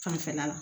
Fanfɛla la